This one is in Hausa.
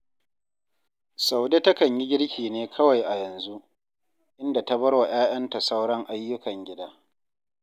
Saude takan yi girki ne kawai a yanzu, inda ta bar wa 'ya'yanta sauran ayyukan gida